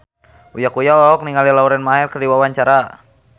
Uya Kuya olohok ningali Lauren Maher keur diwawancara